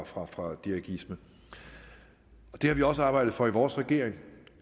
fra fra dirigisme vi har også arbejdet for i vores regering